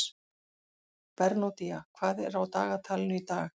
Bernódía, hvað er á dagatalinu í dag?